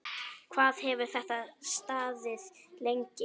Hvað hefur þetta staðið lengi?